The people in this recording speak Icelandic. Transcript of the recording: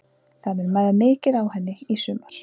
Það mun mæða mikið á henni í sumar.